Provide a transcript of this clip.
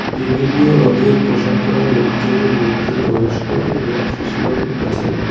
বিভিন্ন রঙ্গের পোশাক পরা লোকজনের মধ্যে বয়স্ক এবং শিশুরাও আছেন।